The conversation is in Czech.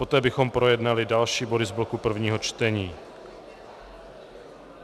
Poté bychom projednali další body z bloku prvního čtení.